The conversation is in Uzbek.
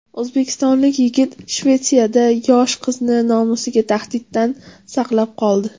O‘zbekistonlik yigit Shvetsiyada yosh qizni nomusiga tahdiddan saqlab qoldi.